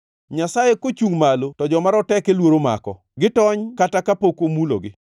Nyasaye kochungʼ malo to joma roteke luoro mako; gitony kata kapok omulogi.